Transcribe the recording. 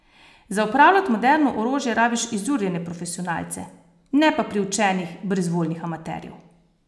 Za upravljat moderno orožje rabiš izurjene profesionalce, ne pa priučenih, brezvoljnih amaterjev.